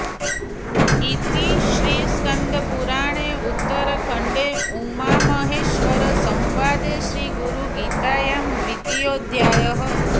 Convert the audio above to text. इति श्रीस्कंदपुराणे उत्तरखंडे उमामहेश्वर संवादे श्री गुरुगीतायां द्वितीयोऽध्यायः